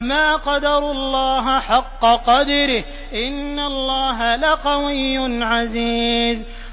مَا قَدَرُوا اللَّهَ حَقَّ قَدْرِهِ ۗ إِنَّ اللَّهَ لَقَوِيٌّ عَزِيزٌ